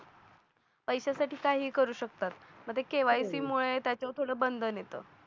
पैशासाठी काहीही करू शकतात मध्ये केवायसी मुळे त्याच्यावर थोडं बंधन येत